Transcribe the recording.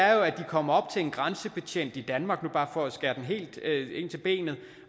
er jo at de kommer op til en grænsebetjent i danmark nu bare for at skære den helt ind til benet